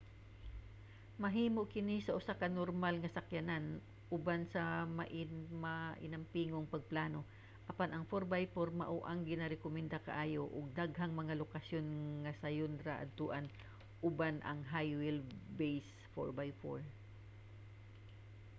mahimo kini sa usa ka normal nga sakyanan uban ang mainampingong pagplano apan ang 4x4 mao ang ginarekomenda kaayo ug daghang mga lokasyon nga sayon ra adtoan uban ang high wheel base 4x4